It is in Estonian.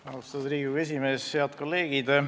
Austatud Riigikogu esimees!